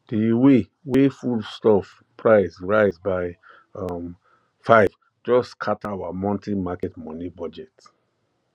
the way way foodstuff price rise by um five just scatter our monthly market money budget